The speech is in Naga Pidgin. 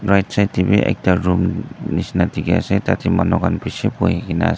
Right side dae bhi ekta room neshina dekhey ase tatey manu khan beshi buhui kena as--